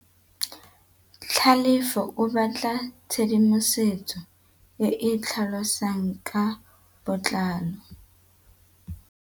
Tlhalefô o batla tshedimosetsô e e tlhalosang ka botlalô.